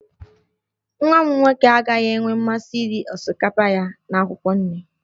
Nwa m nwoke agaghị enwe mmasị iri osikapa ya na akwụkwọ nri